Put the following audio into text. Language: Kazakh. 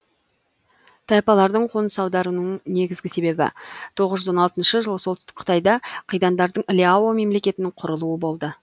тайпалардың қоныс аударуының негізгі себебі тоғыз жүз он алтыншы жылы солтүстік қытайда қидандардың ляо мемлекетінің кұрылуы болды